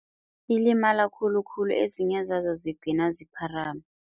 Ilimala khulukhulu enzinye zazo zigcina zipharama.